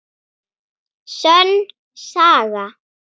Sönn saga.